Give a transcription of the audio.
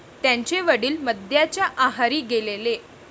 त्यांचे वडील मद्याच्या आहारी गेलेले.